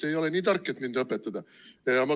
Te ei ole nii tark, et mind õpetada.